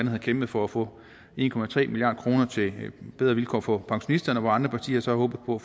har kæmpet for at få en milliard kroner til bedre vilkår for pensionisterne og hvor andre partier så har håbet på